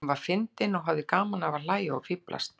Hún var fyndin og hafði gaman af því að hlæja og fíflast.